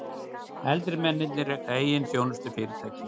Eldri mennirnir reka eigin þjónustufyrirtæki